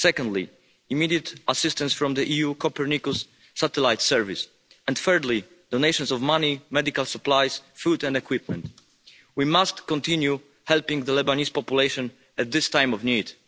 Secondly, immediate assistance from the EU Copernicus satellite service and, thirdly, donations of money, medical supplies, food and equipment. We must continue helping the Lebanese population at this time of need.